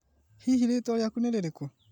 Hihi rĩtwa rĩaku nĩ rĩrĩkũ?